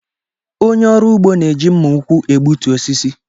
Onye ọrụ ugbo na-eji mma ụkwụ egbutu osisi.